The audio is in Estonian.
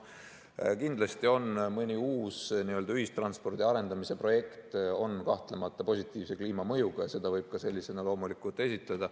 Kindlasti on mõni uus ühistranspordi arendamise projekt positiivse kliimamõjuga ja seda võib ka sellisena loomulikult esitada.